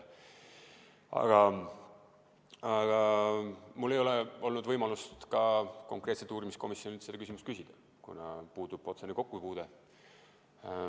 Aga mul ei ole olnud võimalust ka konkreetselt uurimiskomisjonilt seda küsimust küsida, kuna puudub otsene kokkupuude.